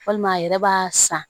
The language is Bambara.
Walima a yɛrɛ b'a san